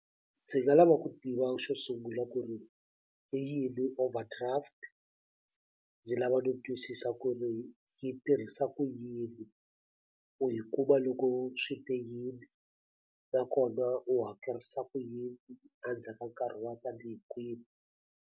Ndzi nga lava ku tiva xo sungula ku ri i yini overdraft ndzi lava no twisisa ku ri yi tirhisa ku yini hi ku va loko swi te yini nakona u hakerisa ku yini endzhaka nkarhi wa tanihi kwini.